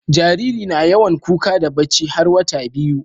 Jariri na yawan kuka da bacci har wata biyu